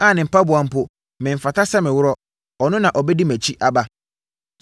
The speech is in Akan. a ne mpaboa mpo memfata sɛ meworɔ; ɔno na ɔbɛdi mʼakyi aba.”